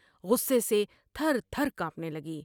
غصے سے تھر تھر کانپنے لگی ۔